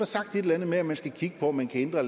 sagt et eller andet med at man skal kigge på om man kan ændre